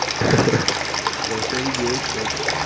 хорошая идея к стати